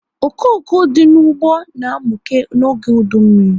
Okoko dị n'ụgbọ na amuke n'oge udu mmiri